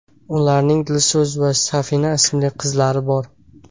Ularning Dilso‘z va Safina ismli qizlari bor.